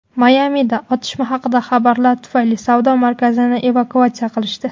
Mayamida otishma haqidagi xabarlar tufayli savdo markazini evakuatsiya qilishdi.